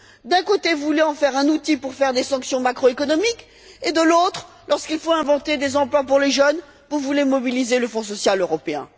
D'un côté, vous voulez en faire un outil pour appliquer des sanctions macroéconomiques et, de l'autre, lorsqu'il faut inventer des emplois pour les jeunes, vous voulez mobiliser le Fonds social européen.